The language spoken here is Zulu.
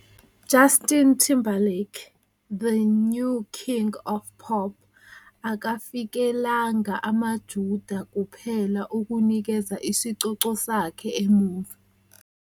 "Justin Timberlake- The New King of Pop akafikelanga amaJuda kuphela ukunikeza isicoco sakhe Emuva".